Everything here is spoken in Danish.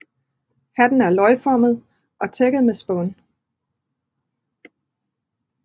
Hatten er løgformet og tækket med spån